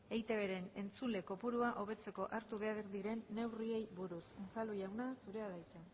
eitbren entzule kopurua hobetzeko hartu behar diren neurriei buruz unzalu jauna zurea da hitza